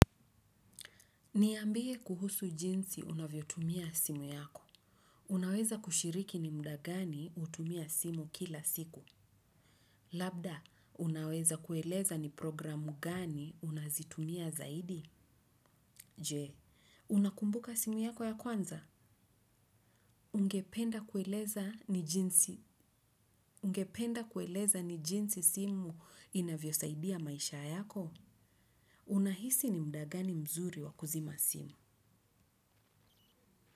Niyambie kuhusu jinsi unavyotumia simu yako. Unaweza kushiriki ni muda gani utumia simu kila siku. Labda, unaweza kueleza ni programu gani unazitumia zaidi? Jee, unakumbuka simu yako ya kwanza? Ungependa kueleza ni jinsi simu inavyosaidia maisha yako? Unahisi ni muda gani mzuri wa kuzima simu.